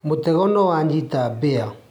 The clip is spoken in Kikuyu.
Mũtego nĩ wanyita mbĩa